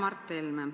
Hea Mart Helme!